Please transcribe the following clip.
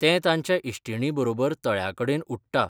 तें ताच्या इश्टिणीं बरोबर तळ्या कडेनउडटा.